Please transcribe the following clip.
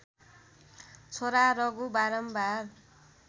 छोरा रघु बारम्बार